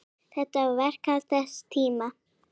Þetta var verklag þess tíma.